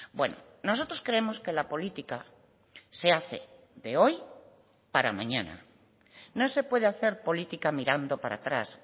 bueno nosotros creemos que la política se hace de hoy para mañana no se puede hacer política mirando para atrás